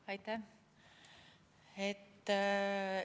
Aitäh!